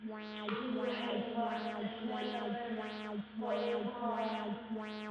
Shinnidu waxay u baahan tahay meel ammaan ah oo ay ku noolaato.